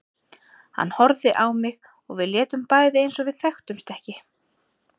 Hann horfði á mig og við létum bæði eins og við þekktumst ekki.